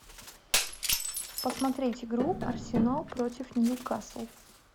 посмотреть игру арсенал против ньюкасл